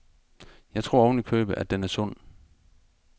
Jeg tror ovenikøbet, at den er sund.